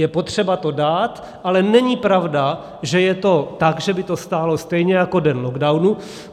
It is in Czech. Je potřeba to dát, ale není pravda, že je to tak, že by to stálo stejně jako den lockdownu.